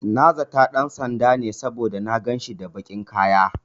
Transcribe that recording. Na zata ɗan sanda ne, saboda na ganshi da baƙin kaya.